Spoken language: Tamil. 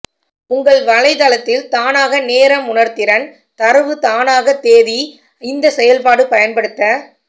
உங்கள் வலைத்தளத்தில் தானாக நேரம் உணர்திறன் தரவு தானாக தேதி இந்த செயல்பாடு பயன்படுத்த